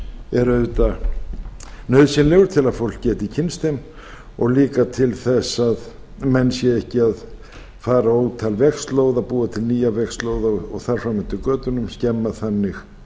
er auðvitað nauðsynlegur til að fólk geti kynnst þeim og líka til þess að menn séu ekki að fara ótal vegslóða og búa til vegslóða og þar fram eftir götunum skemma þannig